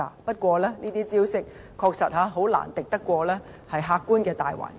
不過，這些招數確實難敵客觀的大環境。